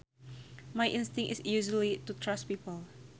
My instinct is usually to trust people